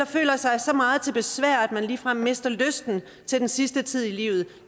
føler sig så meget til besvær at man ligefrem mister lysten til den sidste tid i livet